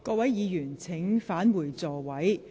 各位議員，請返回座位。